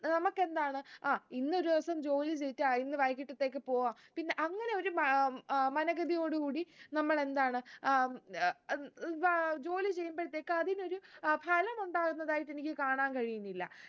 നമുക്കെന്താണ് അഹ് ഇന്നൊരു ദിവസം ജോലി ചെയ്തിട്ട് അഹ് ഇന്ന് വൈകിട്ടത്തേക്ക്‌ പോകാം പിന്നെ അങ്ങനെ ഒരു മ ഏർ മനഗതിയോട് കൂടി നമ്മളെന്താണ് ഏർ ജോലി ചെയ്യുമ്പഴത്തേക്ക് അതിനൊരു ഏർ ഫലം ഉണ്ടാകുന്നതായിട്ട് എനിക്ക് കാണാൻ കഴിയുന്നില്ല